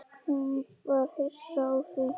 Hún var hissa á því.